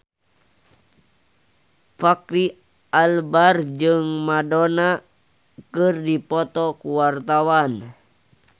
Fachri Albar jeung Madonna keur dipoto ku wartawan